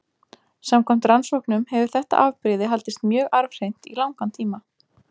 Samkvæmt rannsóknum hefur þetta afbrigði haldist mjög arfhreint í langan tíma.